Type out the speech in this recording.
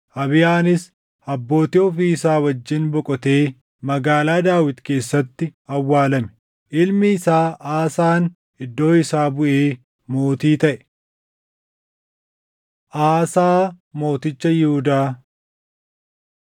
Abiyaanis Abbootii ofii isaa wajjin boqotee Magaalaa Daawit keessatti awwaalame. Ilmi isaa Aasaan iddoo isaa buʼee mootii taʼe. Aasaa Mooticha Yihuudaa 15:9‑22 kwf – 2Sn 14:2‑3; 15:16–16:6 15:23‑24 kwf – 2Sn 16:11–17:1